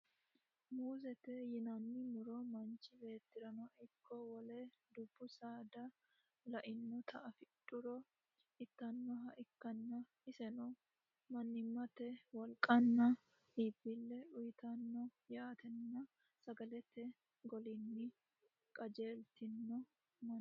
muuzte yinanni muro manchi beettirano ikko wole dubbu saada le'inota afidhuro ittannoha ikkanna, iseno mannimate wolqanna iibbille uyiitanno yitanno sagalete golinni qajeeltino manni.